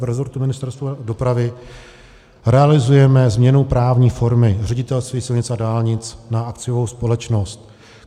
V rezortu Ministerstva dopravy realizujeme změnu právní formy Ředitelství silnic a dálnic na akciovou společnost.